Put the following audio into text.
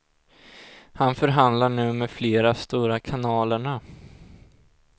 Han förhandlar nu med flera stora kanalerna.